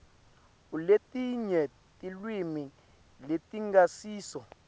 aletinye tilwimi letingasiso